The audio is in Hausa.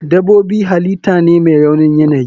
Dabobi halitah ne mai raunin yanayi.